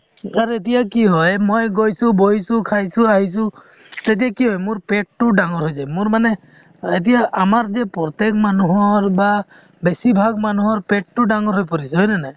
এতিয়া কি হয় মই গৈছো বহিছো খাইছো আহিছো , তেতিয়া কি হয় মোৰ পেট টো ডাঙৰ হৈ যায়, মোৰ মানে এতিয়া আমাৰ যে প্ৰত্যেক মানুহৰ বা বেছিভাগ মানুহৰ পেটটো ডাঙৰ হৈ পৰিছে , হয় নে নাই ?